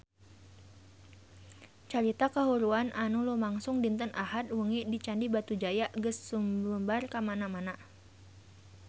Carita kahuruan anu lumangsung dinten Ahad wengi di Candi Batujaya geus sumebar kamana-mana